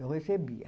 Eu recebia.